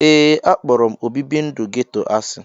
Ee, akpọrọ obibi ndụ geto asị.